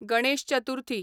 Ganesh Chaturthi